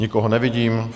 Nikoho nevidím.